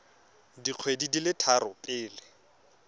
dikgwedi di le tharo pele